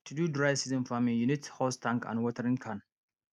to do dry season farming you need hose tank and watering can